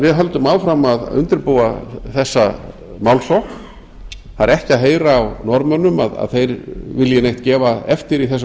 við höldum því áfram að undirbúa þessa málsókn það er ekki að heyra á norðmönnum að þeir vilji neitt gefa eftir í þessum